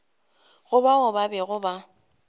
go bao ba bego ba